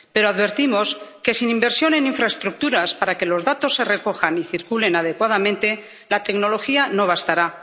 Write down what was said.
Pero advertimos que, sin inversión en infraestructuras para que los datos se recojan y circulen adecuadamente, la tecnología no bastará.